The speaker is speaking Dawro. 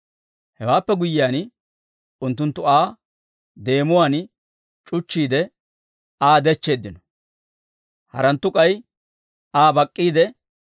Hewaappe guyyiyaan, unttunttu Aa deemuwaan c'uchchiide, Aa dechcheeddino; haranttu k'ay Aa bak'k'iide,